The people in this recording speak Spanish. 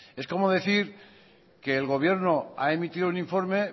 es como decir que el gobierno ha emitido un informe